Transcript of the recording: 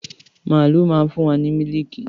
Màálu má ń fún wa ní mílíìkì.